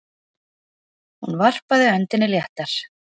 Hún varpaði öndinni léttar.